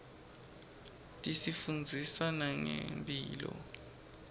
tisifundzisa nangemphilo